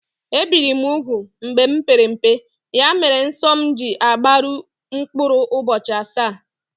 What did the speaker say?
Ebìri m úgwù mgbe m pere mpe, ya mere nsọ m ji agbaru mkpụrụ ụbọchị asaá